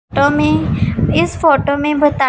तुम्हें इस फोटो में बता--